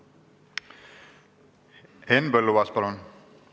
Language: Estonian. Henn Põlluaas, palun!